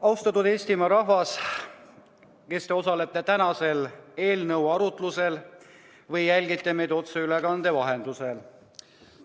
Austatud Eestimaa rahvas, kes te osalete tänasel eelnõu arutlusel või jälgite meid otseülekande vahendusel!